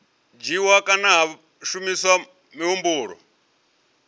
dzhiiwa kana ha shumiswa muhumbulo